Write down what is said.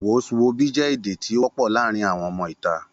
Wos wobi je èdè tí o wọ pọ láàrín àwọn ọmọ ìta